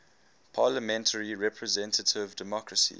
parliamentary representative democracy